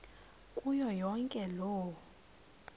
kuyo yonke loo